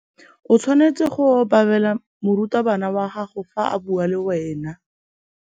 O tshwanetse go obamela morutabana wa gago fa a bua le wena.